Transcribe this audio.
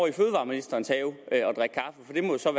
i fødevareministerens have